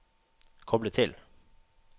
koble til